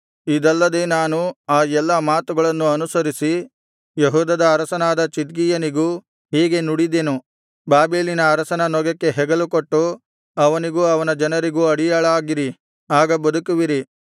ಇದಲ್ಲದೆ ನಾನು ಆ ಎಲ್ಲಾ ಮಾತುಗಳನ್ನು ಅನುಸರಿಸಿ ಯೆಹೂದದ ಅರಸನಾದ ಚಿದ್ಕೀಯನಿಗೂ ಹೀಗೆ ನುಡಿದೆನು ಬಾಬೆಲಿನ ಅರಸನ ನೊಗಕ್ಕೆ ಹೆಗಲುಕೊಟ್ಟು ಅವನಿಗೂ ಅವನ ಜನರಿಗೂ ಅಡಿಯಾಳಾಗಿರಿ ಆಗ ಬದುಕುವಿರಿ